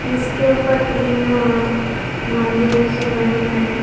जिसके ऊपर तीन मंदिर से बने हुए हैं।